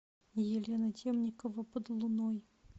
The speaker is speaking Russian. елена темникова под луной